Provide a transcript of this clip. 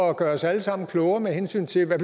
at gøre os alle sammen klogere med hensyn til hvad